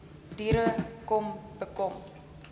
diere kom bekom